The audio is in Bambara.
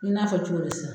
I n'a fɔ cogo di sisan